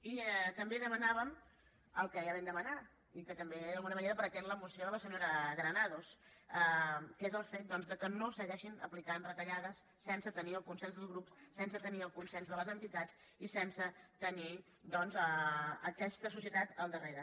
i també demanàvem el que ja vam demanar i que també d’alguna manera pretén la moció de la senyora granados que és el fet que no segueixin aplicant retallades sense tenir el consens dels grups sense tenir el consens de les entitats i sense tenir doncs aquesta societat al darrere